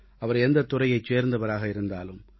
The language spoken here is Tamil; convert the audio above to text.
அவர் எந்தத் துறையைச் சேர்ந்தவராக இருந்தாலும்